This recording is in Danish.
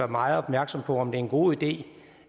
meget opmærksom på om det er en god idé